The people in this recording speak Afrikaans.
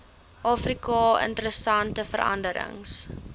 afrika interessante veranderings